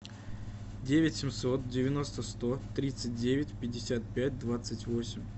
девять семьсот девяносто сто тридцать девять пятьдесят пять двадцать восемь